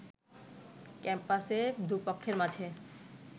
ক্যাম্পাসে দুপক্ষের মাঝে